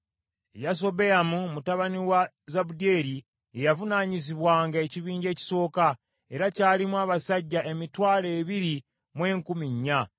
Yasobeyamu mutabani wa Zabudyeri ye yavunaanyizibwanga ekibinja ekisooka, era kyalimu abasajja emitwalo ebiri mu enkumi nnya.